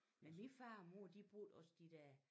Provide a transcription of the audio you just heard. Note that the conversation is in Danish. Men min far og mor de brugte også de der